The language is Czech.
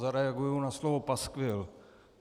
Zareaguji na slovo paskvil.